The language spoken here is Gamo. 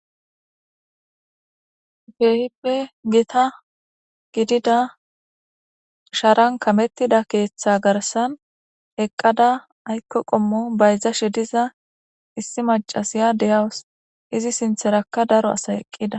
Keehippe gita gidida sharan kamettida keeththa garsan eqqada aykko qommo bayzashe diza issi macasiya deyawus izi sintherakka daro asa eqqida